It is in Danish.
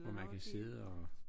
Og man kan sidde og